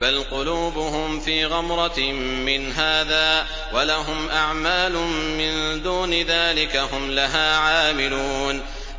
بَلْ قُلُوبُهُمْ فِي غَمْرَةٍ مِّنْ هَٰذَا وَلَهُمْ أَعْمَالٌ مِّن دُونِ ذَٰلِكَ هُمْ لَهَا عَامِلُونَ